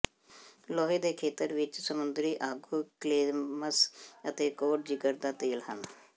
ਲੋਹੇ ਦੇ ਖੇਤਰ ਵਿੱਚ ਸਮੁੰਦਰੀ ਆਗੂ ਕਲੈਮਸ ਅਤੇ ਕੋਡ ਜਿਗਰ ਦਾ ਤੇਲ ਹਨ